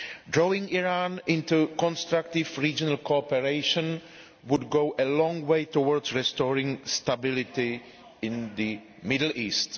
Drawing Iran into constructive regional cooperation would go a long way towards restoring stability in the Middle East.